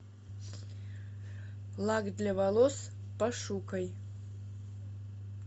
лак для волос пошукай